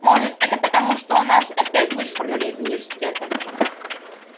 может это потому что нас опять вышвырнули из университета